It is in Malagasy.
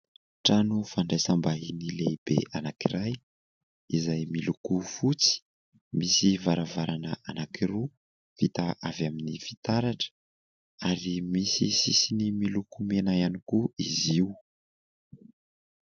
Trano fandraisam-bahiny lehibe anankiray, izay miloko fotsy, misy varavarana anankiroa, vita avy amin'ny fitaratra ary misy sisiny miloko mena ihany koa izy io.